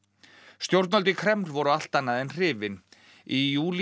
stjórnvöld í Kreml voru allt annað en hrifin í júlí